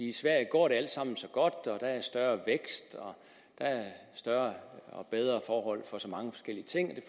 i sverige går det alt sammen så godt og der er større vækst og der er større og bedre forhold for så mange forskellige ting